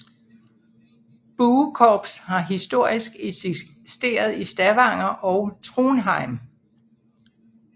Buekorps har historiskt eksisteret i Stavanger og Trondheim